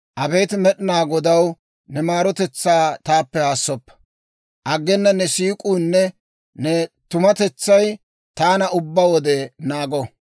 Abeet Med'inaa Godaw, ne maarotetsaa taappe haassoppa. Aggena ne siik'uunne ne tumatetsay taana ubbaa wode naago.